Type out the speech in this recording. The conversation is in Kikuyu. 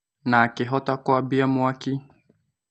Na akĩ hota kwambia mwaki.